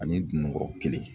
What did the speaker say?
Ani dunukɔrɔ kelen